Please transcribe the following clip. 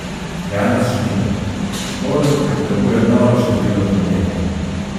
Janez Šmitek: "Šporn potrebuje noro število kilometrov.